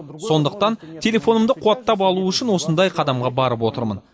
сондықтан телефонымды қуаттап алу үшін осындай қадамға барып отырмын